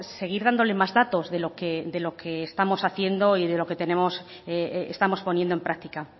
seguir dándole más datos de lo que estamos haciendo y de lo que estamos poniendo en práctica